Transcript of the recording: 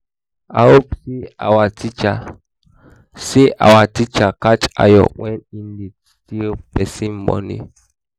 i hear say our teacher say our teacher catch ayo wen he dey steal person money